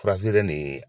Fura feere nin ye